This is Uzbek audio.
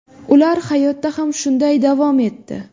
Ular hayotda ham shunday davom etdi.